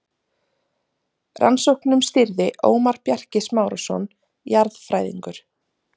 Rannsóknum stýrði Ómar Bjarki Smárason jarðfræðingur.